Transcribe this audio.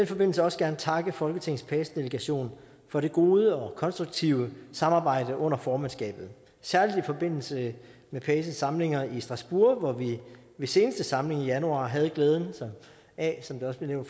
forbindelse også gerne takke folketingets pace delegation for det gode og konstruktive samarbejde under formandskabet særlig i forbindelse med paces samlinger i strasbourg hvor vi ved seneste samling i januar havde glæden af som det også blev